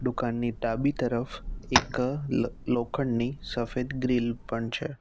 દુકાનની ડાબી તરફ એક લ લોખંડની સફેદ ગ્રીલ પણ છે.